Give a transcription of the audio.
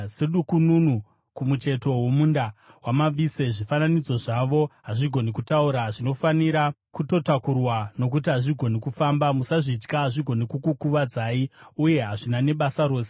Sedukununu kumucheto womunda wamavise, zvifananidzo zvavo hazvigoni kutaura; zvinofanira kutotakurwa nokuti hazvigoni kufamba. Musazvitya; hazvigoni kukukuvadzai, uye hazvina nebasa rose.”